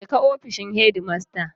Je ka ofishin shedimasta.